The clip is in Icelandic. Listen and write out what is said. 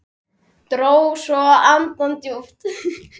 Dró svo andann djúpt.